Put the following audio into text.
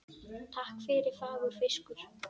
Takk fyrir fagur fiskur.